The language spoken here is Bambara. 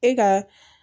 E ka